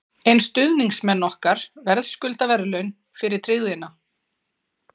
En stuðningsmenn okkar verðskulda verðlaun fyrir tryggðina.